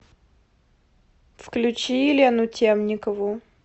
включи елену темникову